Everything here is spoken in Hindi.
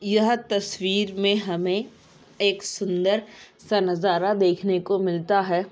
यह तस्वीर मे हमें एक सुन्दर सा नज़ारा देखने को मिलता है।